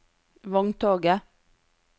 vogntoget